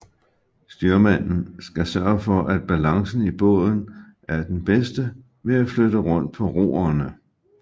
Styrmanden skal sørge for at balancen i båden er den bedste ved at flytte rundt på roerne